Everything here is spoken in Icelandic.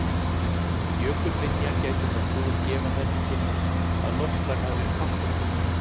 Jökulminja gætir nokkuð og gefa þær til kynna að loftslag hafi verið kalt á stundum.